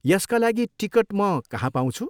यसका लागि टिकट म कहाँ पाउँछु?